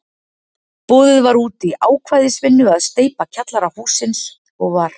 Boðið var út í ákvæðisvinnu að steypa kjallara hússins, og var